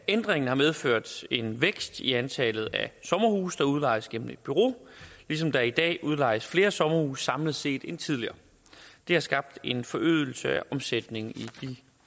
ændringen har medført en vækst i antallet af sommerhuse der udlejes gennem et bureau ligesom der i dag udlejes flere sommerhuse samlet set end tidligere det har skabt en forøgelse af omsætningen i de